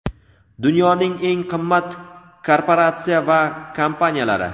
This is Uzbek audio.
Dunyoning eng qimmat korporatsiya va kompaniyalari.